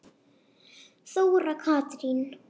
Þóra Katrín.